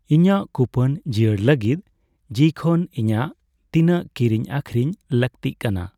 ᱤᱧᱟᱜ ᱠᱩᱯᱚᱱ ᱡᱤᱭᱟᱹᱲ ᱞᱟᱹᱜᱤᱫ ᱡᱤᱤ ᱠᱷᱚᱱ ᱤᱧᱟᱜ ᱛᱤᱱᱟᱹᱜ ᱠᱤᱨᱤᱧ ᱟᱹᱠᱷᱨᱤᱧ ᱞᱟᱹᱜᱛᱤ ᱠᱟᱱᱟ ᱾